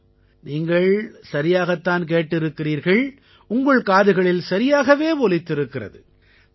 ஆம் நீங்கள் சரியாகத் தான் கேட்டிருக்கிறீர்கள் உங்கள் காதுகளில் சரியாகவே ஒலித்திருக்கிறது